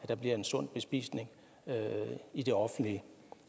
der bliver en sund bespisning i det offentlige